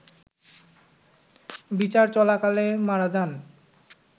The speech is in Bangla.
বিচার চলাকালে মারা যান